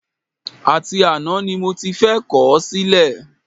Àti àná ni mo ti fẹ́ kọ̀ ọ́ sílẹ̀